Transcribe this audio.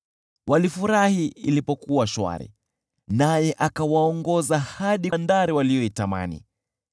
Walifurahi ilipokuwa shwari, naye akawaongoza hadi bandari waliyoitamani.